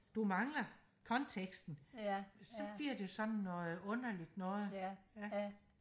du mangler konteksten så bliver det jo sådan noget underligt noget ja